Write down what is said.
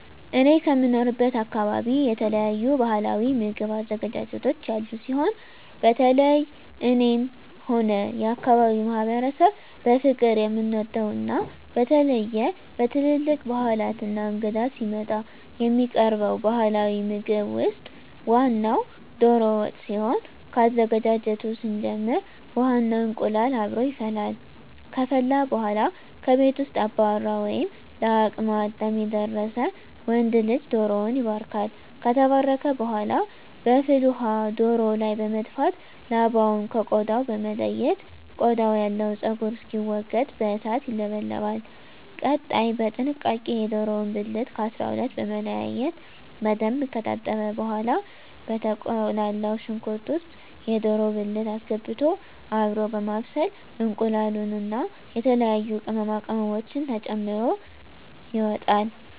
እኔ ከምኖርበት አካበቢ የተለያዩ ባህላዊ ምግብ አዘገጃጀቶች ያሉ ሲሆን በተለየ እኔም ሆነ የአካባቢዉ ማህበረሰብ በፍቅር የምንወደው እና በተለየ በትልልቅ ባህላት እና እንግዳ ሲመጣ የሚቀርበው ባህላዊ ምግብ ውስጥ ዋናው ደሮ ወጥ ሲሆን ከአዘገጃጀቱ ስንጀምር ውሃ እና እንቁላሉ አብሮ ይፈላል ከፈላ በኃላ ከቤት ውስጥ አባወራ ወይም ለአቅመ አዳም የደረሰ ወንድ ልጅ ደሮዉን ይባርካል። ከተባረከ በኃላ በፍል ውሃው ደሮው ላይ በመድፋት ላባውን ከ ቆዳው በመለየት ቆዳው ያለው ፀጉር እንዲወገድ በእሳት ይለበለባል። ቀጣይ በጥንቃቄ የደሮውን ብልት ከ 12 በመለያየት በደንብ ከታጠበ በኃላ በተቁላላው ሽንኩርት ውስጥ የደሮ ብልት አስገብቶ አብሮ በማብሰል እንቁላሉን እና የተለያዩ ቅመማ ቅመሞችን ተጨምሮ ይወጣል።